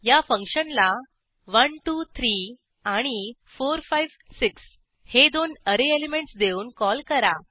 या फंक्शनला 1 2 3 आणि 4 5 6 हे दोन ऍरे एलिमेंटस देऊन कॉल करा